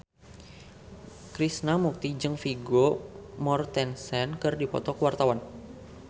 Krishna Mukti jeung Vigo Mortensen keur dipoto ku wartawan